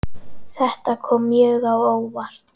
Þetta kom mjög á óvart.